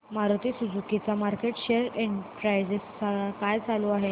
Maruti Suzuki चा market share percentage काय चालू आहे